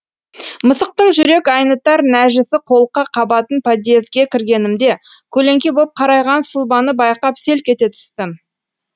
мысықтың жүрек айнытар нәжісі қолқа қабатын подъезге кіргенімде көлеңке боп карайған сұлбаны байқап селк ете түстім